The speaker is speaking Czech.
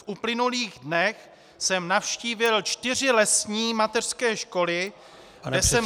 V uplynulých dnech jsem navštívil čtyři lesní mateřské školy, kde jsem získal -